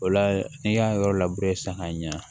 O la n'i y'a yɔrɔ labure san k'a ɲɛ